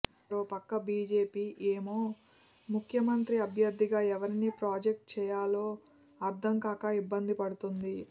మరోపక్క బీజేపీ ఏమో ముఖ్యమంత్రి అభ్యర్థిగా ఎవరిని ప్రాజెక్ట్ చేయాలో అర్థం కాక ఇబ్బంది పడుతుంది